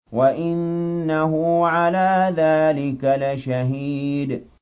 وَإِنَّهُ عَلَىٰ ذَٰلِكَ لَشَهِيدٌ